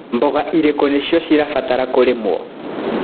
Mboga irĩkũ nĩcio cirabatara kũrĩmĩrwo.